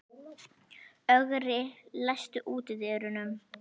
Ögri, læstu útidyrunum.